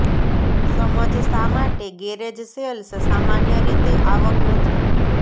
સમજ શા માટે ગેરેજ સેલ્સ સામાન્ય રીતે આવક નથી